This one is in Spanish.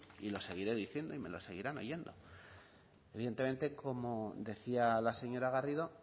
y lo seguiré diciendo y me lo seguirán oyendo evidentemente como decía la señora garrido